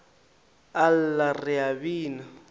a lla re a bina